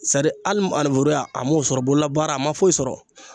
Sadi hali maneburuya a m'o sɔrɔ bololabaara a ma foyi sɔrɔ.